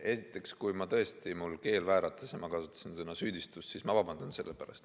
Esiteks, kui tõesti mul keel vääratas ja ma kasutasin sõna "süüdistus", siis ma vabandan.